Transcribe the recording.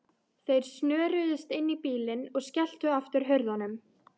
Þeir snöruðust inn í bílinn og skelltu aftur hurðunum.